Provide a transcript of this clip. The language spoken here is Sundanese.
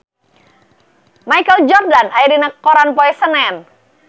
Michael Jordan aya dina koran poe Senen